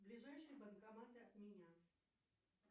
ближайший банкомат от меня